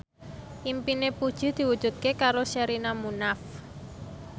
impine Puji diwujudke karo Sherina Munaf